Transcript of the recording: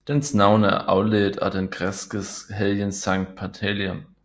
Dens navn er afledt af den græskes helgen Sankt Pantaleon